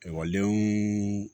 Ekɔlidenw